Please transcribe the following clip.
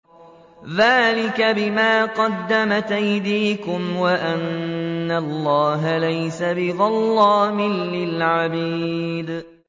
ذَٰلِكَ بِمَا قَدَّمَتْ أَيْدِيكُمْ وَأَنَّ اللَّهَ لَيْسَ بِظَلَّامٍ لِّلْعَبِيدِ